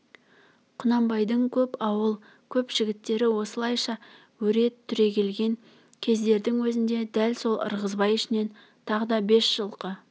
құнанбайдың көп ауыл көп жігіттері осылайша өре түрегелген кездердің өзінде дәл сол ырғызбай ішінен тағы да бес жылқы